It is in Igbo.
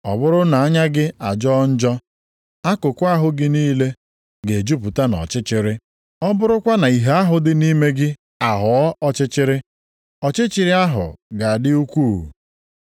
Ọ bụrụ na anya gị ajọọ njọ, akụkụ ahụ gị niile ga-ejupụta nʼọchịchịrị. Ọ bụrụkwa na ìhè ahụ dị nʼime gị aghọọ ọchịchịrị, ọchịchịrị ahụ ga-adị ukwuu.